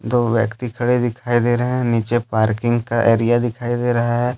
दो व्यक्ति खड़े दिखाई दे रहे हैं नीचे पार्किंग का एरिया दिखाई दे रहा है।